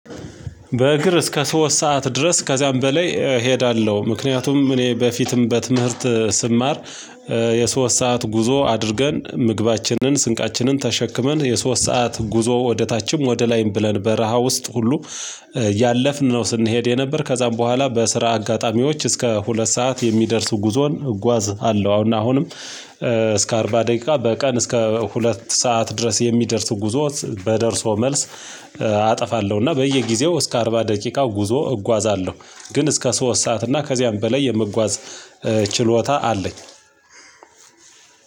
በእግር እስከ ሶስት ሰዓት ድረስ ከዚያም በላይ እሄዳለሁ። ምክንያቱም እኔ በፊትም በትምህርት ስማር። የሶስት ሰዓት ጉዞ አድርገን ምግባችንን ስንቃችንን ተሸክመን የሶስት ሰዓት ጉዞ ወደ ታችም ወደ ላይም ብለን በረሃ ውስጥ ሁሉ ያለፍን ነው ስንሄድ የነበር። ከዛም በኋላ በስራ አጋጣሚዎች እስከ ሁለት ሰዓት የሚደርሱ ጉዞን እጓዝ አለው። አሁንም እስከ አርባ ደቂቃ በቀን እስከ ሁለት ሰዓት ድረስ የሚደርስ ጉዞ በደርሶ መልስ አጠፋለሁ። እና በየጊዜው እስከ አርባ ደቂቃው ጉዞ እጓዛለሁ። ግን እስከ ሶስት ሰዓት እና ከዚያም በላይ የምጓዝ ችሎታ አለኝ።